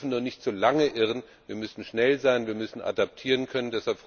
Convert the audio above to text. Sie dürfen nur nicht zu lange irren, wir müssen schnell sein, wir müssen adaptieren können.